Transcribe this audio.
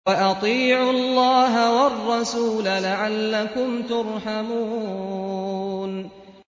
وَأَطِيعُوا اللَّهَ وَالرَّسُولَ لَعَلَّكُمْ تُرْحَمُونَ